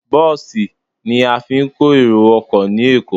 Bọ́ọ̀sì ni a fi ń kó èrò ọkọ ní Èkó.